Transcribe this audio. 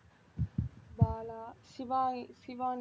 Bala Shiva~ Shivani